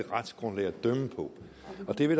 det er